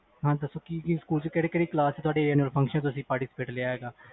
ਹਾਂ ਦਸੋ ਕਿ ਕਿ ਸਕੂਲ ਵਿਚ ਕਿਹੜੀ ਕਲਾਸ ਵਿਚ annual party ਵਿਚ ਹਿਸਾ ਲਿਆ